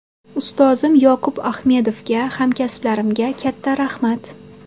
Ustozim Yoqub Axmedovga, hamkasblarimga katta rahmat.